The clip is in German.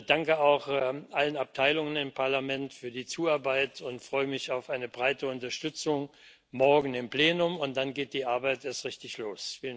Danke auch allen Abteilungen im Parlament für die Zuarbeit, ich freue mich auf eine breite Unterstützung morgen im Plenum, und dann geht die Arbeit erst richtig los.